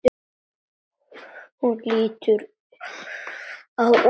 Hún lítur á úrið.